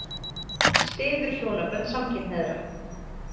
Styður hjónabönd samkynhneigðra